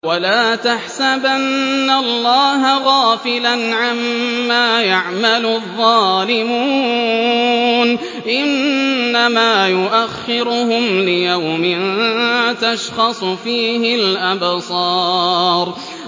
وَلَا تَحْسَبَنَّ اللَّهَ غَافِلًا عَمَّا يَعْمَلُ الظَّالِمُونَ ۚ إِنَّمَا يُؤَخِّرُهُمْ لِيَوْمٍ تَشْخَصُ فِيهِ الْأَبْصَارُ